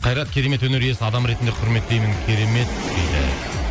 қайрат керемет өнер иесі адам ретінде құрметтеймін керемет дейді